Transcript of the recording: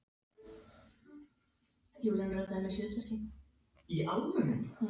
Við eigum það þá sameiginlegt, segir hún.